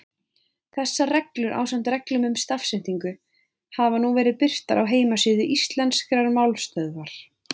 Þessar reglur, ásamt reglum um stafsetningu, hafa nú verið birtar á heimasíðu Íslenskrar málstöðvar.